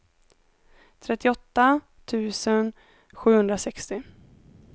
trettioåtta tusen sjuhundrasextio